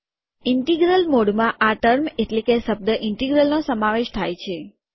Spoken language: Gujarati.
ઇન્ટિગ્રલ મોડમાં આ ટર્મ એટલે કે શબ્દ ઇન્ટિગ્રલનો સમાવેશ થાય છે